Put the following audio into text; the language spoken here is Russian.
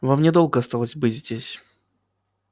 вам недолго осталось быть здесь